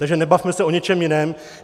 Takže nebavme se o něčem jiném.